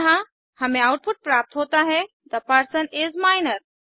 यह हमें आउटपुट प्राप्त होता है थे पर्सन इस माइनर